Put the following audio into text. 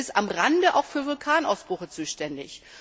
Es ist am Rande auch für Vulkanausbrüche zuständig.